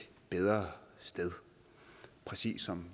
bedre sted præcis som